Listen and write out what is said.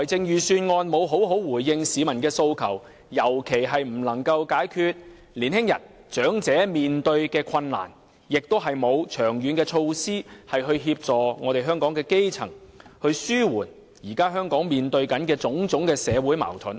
預算案沒有好好回應市民的訴求，尤其不能夠解決青年人和長者面對的困難，亦沒有長遠的措施協助基層市民，紓緩香港現正面對的種種社會矛盾。